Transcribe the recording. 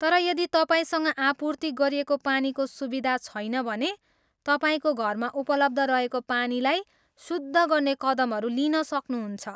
तर यदि तपाईँसँग आपूर्ति गरिएको पानीको सुविधा छैन भने, तपाईँको घरमा उपलब्ध रहेको पानीलाई शुद्ध गर्ने कदमहरू लिन सक्नहुन्छ।